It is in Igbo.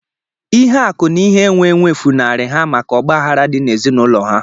Ihe akụ na ihe enwe enwe funarị ha maka ọgbaghara dị n'ezinaụlọ ha